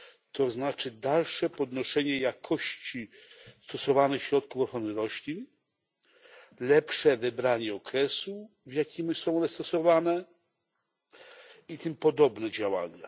To znaczy dalsze podnoszenie jakości stosowanych środków ochrony roślin, lepsze wybranie okresu, w jakim są one stosowane, i tym podobne działania.